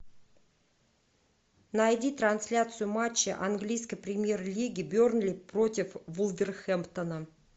найди трансляцию матча английской премьер лиги бернли против вулверхэмптона